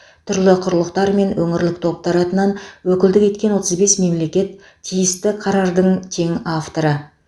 түрлі құрылықтар мен өңірлік топтар атынан өкілдік еткен отыз бес мемлекет тиісті қарардың тең авторы